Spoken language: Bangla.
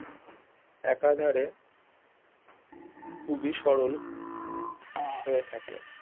একাধারে খুবই সরল হয়ে থাকে